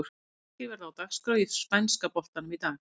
Sex leikir verða á dagskrá í spænska boltanum í dag.